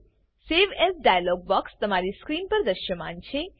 the save as dialog box તમારી screen પર દ્રશ્યમાન છે